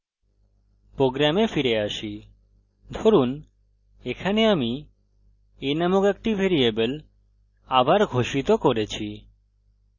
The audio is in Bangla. program ফিরে আসি ধরুন এখানে আমি a নামক একটি ভ্যারিয়েবল আবার ঘোষিত করেছি